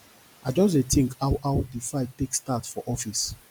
i just dey tink how how di fight take start for office